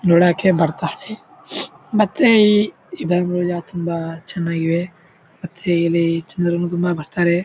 ನೋಡಕೆ ಬರುತ್ತಾರೆ ಮತ್ತೆ ಇಲ್ಲಿ ಇದನ್ನುನೋಯ ತುಂಬಾ ಚನ್ನಾಗಿದೆ ಮತ್ತೆ ಇಲ್ಲಿ ಜನ್ರು ತುಂಬಾ ಬರುತ್ತಾರೆ.